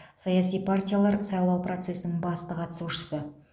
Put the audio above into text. саяси партиялар сайлау процесінің басты қатысушысы